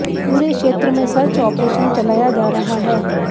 पूरे क्षेत्र में सर्च ऑपरेशन चलाया जा रहा है